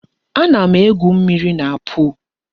A na-egwu mmírí na pol